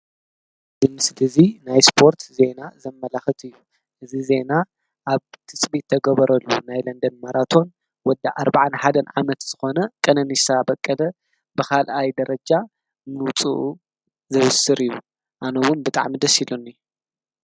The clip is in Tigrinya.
እዚ ምሰሊ እዚ ዜና ናይ አስፖርት ዜና ዘማላኽትእዩ፡፡ እዚ ዜና ኣብ ትፅቢት ዝተገበረሉ ናይ ለንደን ማራቶን ወዲ ኣርባዓን ሓደን ዓመት ዝኾነ ቀነኒሳ በቀለ ካልኣይ ደረጃ ምዉፁኡ ዘብስር እዩ ። ኣነዉኒ ብጣዕሚ እዩ ደሰ ኢሉኒ፡፡